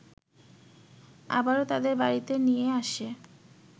আবারো তাদের বাড়িতে নিয়ে আসে